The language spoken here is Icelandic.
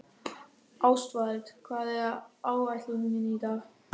Ástvald, hvað er á áætluninni minni í dag?